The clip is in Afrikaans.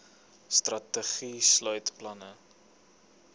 strategie sluit planne